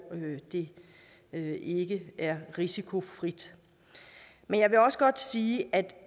det det ikke er risikofrit men jeg vil også godt sige at